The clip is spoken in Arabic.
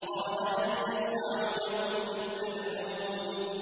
قَالَ هَلْ يَسْمَعُونَكُمْ إِذْ تَدْعُونَ